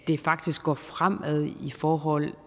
det faktisk går fremad i forhold